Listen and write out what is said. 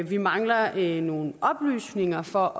vi mangler nogle oplysninger for